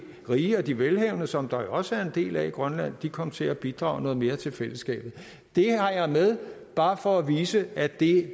rige og de velhavende som der jo også en del af i grønland kom til at bidrage noget mere til fællesskabet det har jeg med bare for at vise at det